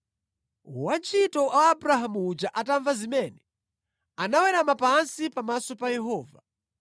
Wantchito wa Abrahamu uja atamva zimene anawerama pansi pamaso pa Yehova.